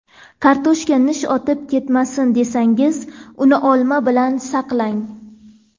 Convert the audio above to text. Kartoshka nish otib ketmasin, desangiz uni olma bilan saqlang.